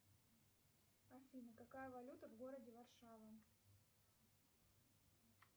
афина какая валюта в городе варшава